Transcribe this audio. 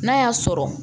N'a y'a sɔrɔ